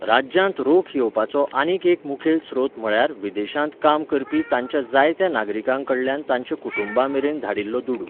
राज्यांत रोख येवपाचो आनीक एक मुखेल स्रोत म्हळ्यार विदेशांत काम करपी ताच्या जायत्या नागरिकां कडल्यान तांच्या कुटुंबां मेरेन धाडिल्लो दुडू.